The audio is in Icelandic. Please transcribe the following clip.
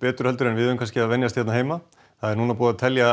betur en við eigum að venjast núna er búið að telja